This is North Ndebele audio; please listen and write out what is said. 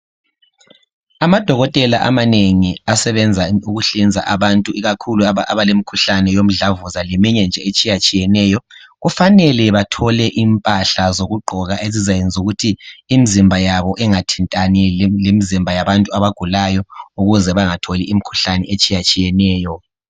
Amadokotela amanengi asebenza ukuhlinza abantu ikakhulu abalomkhuhlane womdlavuza leminye nje etshiyeneyo kufanele bathole impahla zokugqoka ezizayenza ukuthi imizimba yabo ingathintani lemizimba yabantu abagulayo ukuze bengatholi imikhuhlane etshiyeneyo.